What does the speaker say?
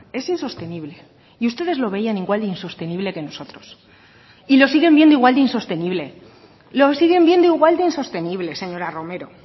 es insostenible y ustedes lo veían igual de insostenible que nosotros y lo siguen viendo igual de insostenible lo siguen viendo igual de insostenible señora romero